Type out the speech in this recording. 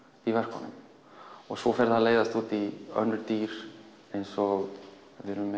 í verkunum og svo fer það að leiðast út í önnur dýr eins og